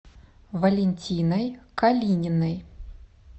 валентиной калининой